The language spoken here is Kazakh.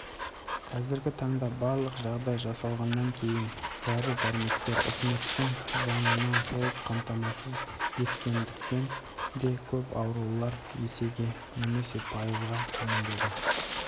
қазіргі таңда барлық жағдай жасалғаннан кейін дәрі-дәрмектер үкіметтің жанынан толық қамтамасыз еткендіктен де көп аурулар есеге немесе пайызға төмендеді